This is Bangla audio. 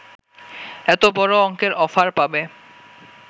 এত বড় অঙ্কের অফার পাবে